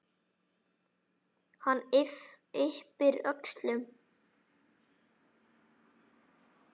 Hann yppir öxlum.